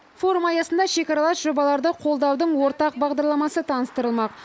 форум аясында шекаралас жобаларды қолдаудың ортақ бағдарламасы таныстырылмақ